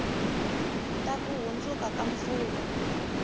ta ku hundzuka ka mfumo